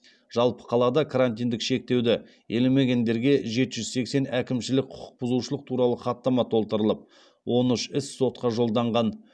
жалпы қалада карантиндік шектеуді елемегендерге жеті жүз сексен әкімшілік құқық бұзушылық туралы хаттама толтырылып он үш іс сотқа жолданған